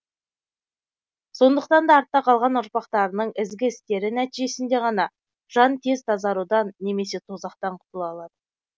сондықтан да артта қалған ұрпақтарының ізгі істері нәтижесінде ғана жан тез тазарудан немесе тозақтан құтыла алады